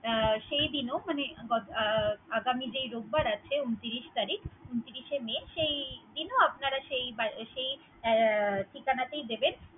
সেই দিন ও মানে অ~ আগামি যেই রোববার আছে ঊনত্রিশ তারিখ, ঊনত্রিশে মে, সেই দিন ও সেই ঠিকানাটিই দিবেন।